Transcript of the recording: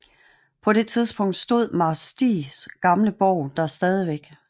På det tidspunkt stod Marsk Stigs gamle borg der stadigvæk